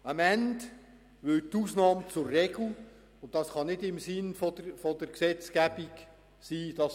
Am Ende würde die Ausnahme zur Regel, und das kann nicht im Sinn der Gesetzgebung sein.